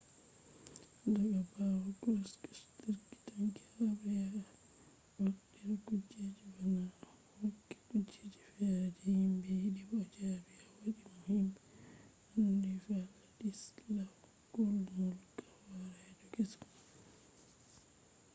daga bawo krushchev turi tanki habre ya wartira kujeji ba naane o hokki kujeji fere je himbe yidi bo o jabi o wadi mo himbe andi wladyslaw gomulka horeejo kesum